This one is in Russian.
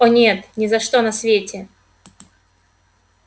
о нет ни за что на свете